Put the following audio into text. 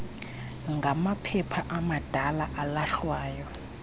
ngamaphepha amadala alahlwayo